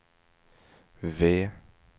V